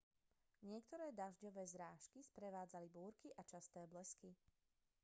niektoré dažďové zrážky sprevádzali búrky a časté blesky